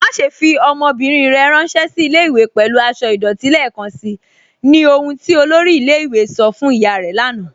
Màṣẹ̀ fi ọmọ́bírín rẹ̀ ránsẹ̀ sí ilẹ̀-ìwé̀ pẹ̀lú àṣọ̀ idọ̀tí lẹ́ẹkanṣí, ní ọ̀hun tí olórí ilẹ̀-ìwé̀ sọ̀ fún ìyá rẹ̀ lànà